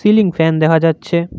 Ceiling fan দেখা যাচ্ছে।